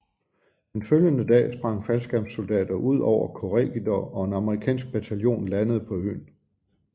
Den følgende dag sprang faldskærmssoldater ud over Corregidor og en amerikansk bataljon landede på øen